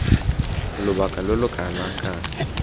lobaka lo lo kana kang